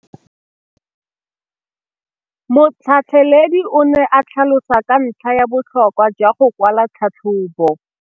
Motlhatlheledi o ne a tlhalosa ka ntlha ya botlhokwa jwa go kwala tlhatlhôbô.